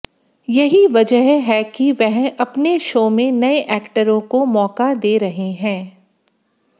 यही वजह है कि वह अपने शो में नए एक्टरों को मौका दे रहे हैं